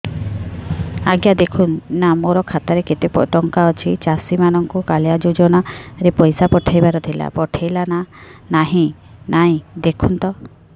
ଆଜ୍ଞା ଦେଖୁନ ନା ମୋର ଖାତାରେ କେତେ ଟଙ୍କା ଅଛି ଚାଷୀ ମାନଙ୍କୁ କାଳିଆ ଯୁଜୁନା ରେ ପଇସା ପଠେଇବାର ଥିଲା ପଠେଇଲା ନା ନାଇଁ ଦେଖୁନ ତ